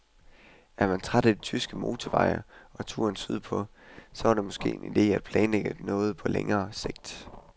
Er man træt af de tyske motorveje og turen sydpå, så var det måske en ide at planlægge på længere sigt.